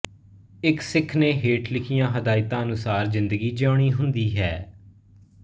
ਇੱਕ ਸਿੱਖ ਨੇ ਹੇਠ ਲਿਖੀਆਂ ਹਦਾਇਤਾਂ ਅਨੁਸਾਰ ਜ਼ਿੰਦਗੀ ਜਿਊਣੀ ਹੁੰਦੀ ਹੈ